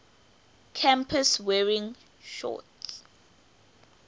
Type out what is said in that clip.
campus wearing shorts